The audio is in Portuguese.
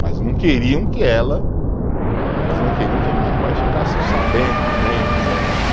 Mas não queriam que ela, elas não queriam que a minha mãe ficasse sabendo, vendo.